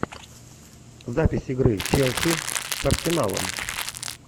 запись игры челси с арсеналом